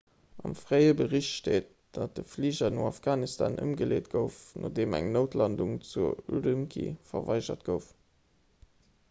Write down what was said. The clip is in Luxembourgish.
am fréie bericht steet datt de fliger no afghanistan ëmgeleet gouf nodeem eng noutlandung zu ürümqi verweigert gouf